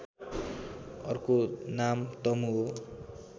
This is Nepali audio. अर्को नाम तमु हो